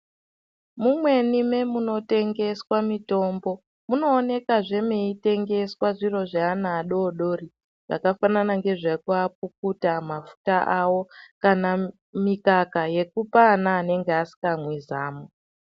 Mumweni memunotengeswa mitombo, munoonekazve mweitengeswa zviro zveana adori dori. Zvakafanana nezvekuapukuta, mafuta awo kana mikaka yekupa vana vanenge vasikamwi zamu.